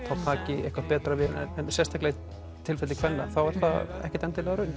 taki eitthvað betra við en sérstaklega í tilfelli kvenna er það ekkert endilega raunin